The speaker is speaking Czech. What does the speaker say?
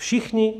Všichni.